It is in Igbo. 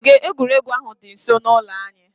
Ogige egwuregwu ahụ dị nsọ n'ụlọ anyị